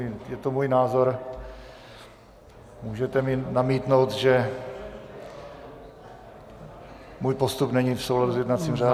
Je to můj názor, můžete mi namítnout, že můj postup není v souladu s jednacím řádem.